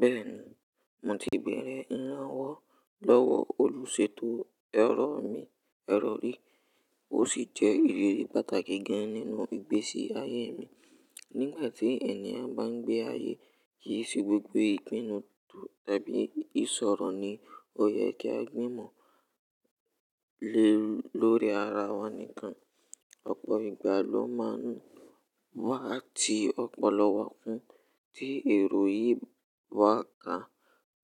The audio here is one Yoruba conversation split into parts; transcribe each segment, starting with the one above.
Bẹ́ẹ̀ni, mo ti bẹ̀rẹ̀ ìrànwọ́ lọ́wọ́ olùsètò ẹ̀rọ mi, ẹ̀rọ rí. Ó sì jẹ́ ìrírí pàtàkì gan-an nínú ìgbésí ayé mi. Nígbà tí ènìyàn bá ń gbé ayé, kì í ṣe gbogbo ìpinnu tàbí ìṣòro ni ó yẹ kí a gbìmọ̀ lórí ara wa nìkan. Ọ̀pọ̀ ìgbà ló máa ń wá ti ọ̀pọ̀lọ wa kun tí èrò yìí wá ká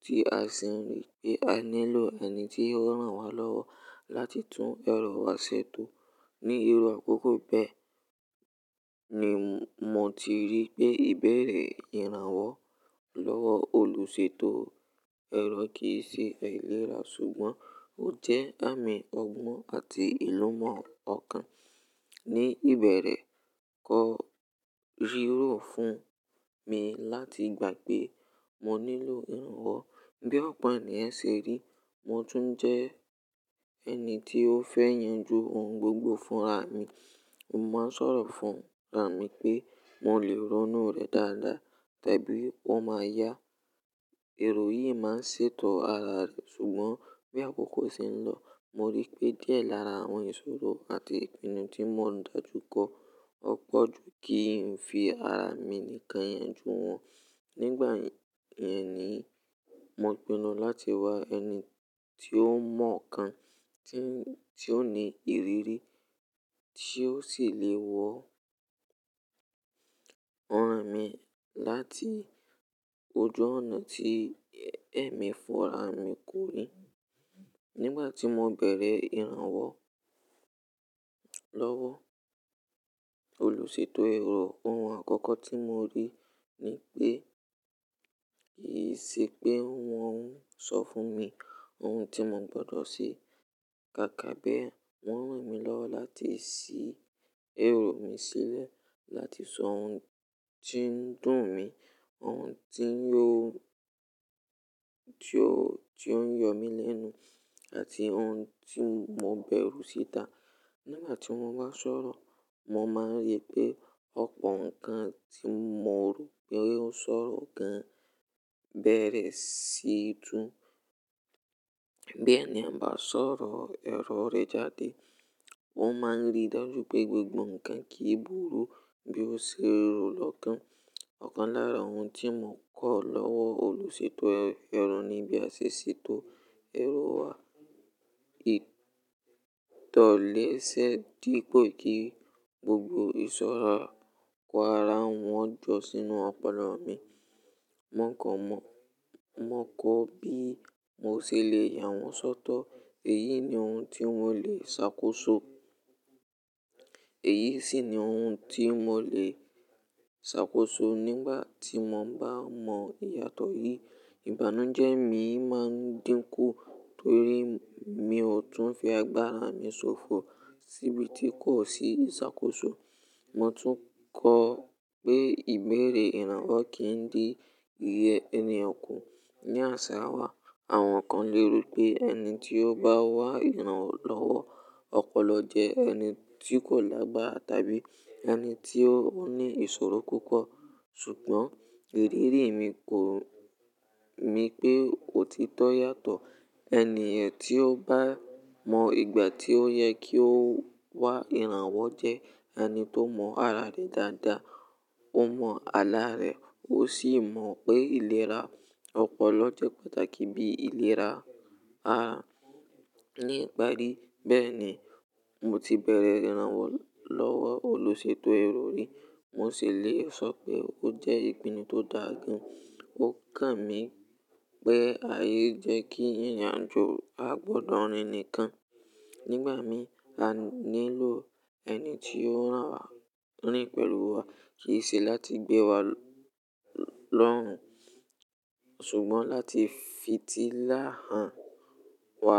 tí a sì rí pé a nílò ẹni tí ó rán wa lọ́wọ́ láti tún èrò wa ṣètò. Ni iru àkọ́kọ́ bẹ́ẹ̀ ni mo ti rí pé ìbẹ̀rẹ̀ ìrànwọ́ lọ́wọ́ olùsètò ẹ̀rọ kì í ṣe àìlera, ṣùgbọ́n ó jẹ́ àmì ọgbọ́n àti ìlú mọ́ ọ̀kan. Ni ìbẹ̀rẹ̀ kò rírọ̀ fún mi láti gbà pé mo nílò ìrànwọ́. Bí ọ̀pọ̀ è ṣe rí, mo tún jẹ́ ẹni tí ó fẹ́ yanjú ohun gbogbo fúnra mi. Mo máa ń sọ̀rọ̀ fúnra mi pé mo lè ránú rẹ̀ dáadáa tàbí wọ́n máa yá. Èrò yìí máa ń ṣètò ara rẹ̀, ṣùgbọ́n bí àkókò ṣe ń lọ, mo rí i pé díẹ̀ lára àwọn ìṣòro àti ìpinnu tí mọ̀ dájú kọ̀ ọ̀ pọ̀ ju kí n fi ara mi nìkan yanjú wọn. Nígbà yìí ni mo pinnu láti wá ẹni tí ó mọ̀ ọ̀kan, tí ó ní ìrírí, tí ó sì lè wọ́n ran mi láti ojú ọ̀nà tí ẹ̀mí fúnra mi kò rí. Nígbà tí mo bẹ̀rẹ̀ ìrànwọ́ lọ́wọ́ olùsètò ẹ̀rọ, ohun àkọ́kọ́ tí mo rí ni pé kì í ṣe pé wọ́n ń sọ fún mi ohun tí mo gbọdọ̀ ṣe. Kàkà bí ẹ, wọ́n rán mi lọ́wọ́ láti ṣí èrò mi sílẹ̀, láti sọ ohun tí ń dùn mi, ohun tí ó ń yọ̀ mí lẹ́nu àti ohun tí mo bẹ̀rù síta. Nígbà tí mo bá ń sọ̀rọ̀, mo máa ń rí pé ọ̀pọ̀ nǹkan tí mo rò pé ó ṣòro gan bẹ̀rẹ̀ sí í dùn. Bí ènìyàn bá sọ̀rọ̀ èrọ re jáde, wọ́n máa ń rí dájú pé gbogbo nǹkan kì í burú bí ó ṣe rọ̀ lọ́kàn. Ọ̀kan lára ohun tí mo kọ́ lọ́wọ́ olùsètò ẹ̀rọ ni bí a ṣe ṣètò èrò wa. Itọ́ lẹ́sẹ̀ dípò kí gbogbo ìṣòro kó ara wọn jọ sínú ọ̀polo mi. Wọ́n kọ́ bí mo ṣe lè yà wọ́n sọ́tọ̀. Èyí ni ohun tí wọ́n le ṣàkóso. Èyí sì ni ohun tí mo lè ṣàkóso nígbà tí mo bá mọ ìyàtọ̀ yìí. Ìbánújẹ́ mi máa ń dínkù torí mi ò tún fi agbára mi ṣòfò síbi tí kò sí ṣàkóso. Mo tún kọ́ pé ìbẹ̀rẹ̀ ìrànwọ́ kì í di ìyẹ́ ẹniyen kú. Ni àsẹ̀wàgbà, àwọn kan léro pé ẹni tí ó bá wá ìrànlọ́wọ́ ọ̀pọ̀lọpọ̀ jẹ́ ẹni tí kò lágbára tàbí ẹni tí ó ní ìṣòro púpọ̀. Ṣùgbọ́n ìrírí mi kò ni pé òtítọ́ yàtọ̀. Ẹ̀níyàn tí ó bá mọ ìgbà tí ó yẹ kí ó wá ìrànwọ́ jẹ́ ẹni tó mọ ara rẹ̀ dáadáa. Ó mọ àlá rẹ̀ ó sì mọ̀ pé ìlera ọ̀pọ̀lọpọ̀ jẹ́ pàtàkì bí ìlera ara níparí. Bẹ́ẹ̀ni, mo ti bẹ̀rẹ̀ ìrànwọ́ lọ́wọ́ olùsètò ẹ̀rọ rí. Mo sì le sọ pé ó jẹ́ ìpinnu tó dà gan. Ó kàn mí pé ayé jẹ́ kí irin ajo a gbọdọ̀ rìn nìkan. Nígbà mìíràn, a nílò ẹni tí ó ran wa rìn pẹ̀lú wa. Kì í ṣe láti gbé wa lọ́rùn ṣùgbọ́n láti fi tílá hàn wa.